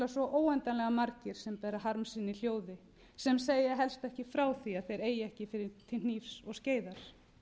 óendanlega margir sem bera harm sinn í hljóði sem segja helst ekki frá því að þeir eigi ekki til hnífs og skeiðar